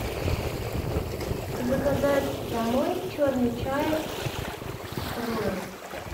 заказать домой черный чай роял